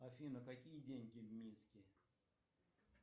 афина какие деньги в минске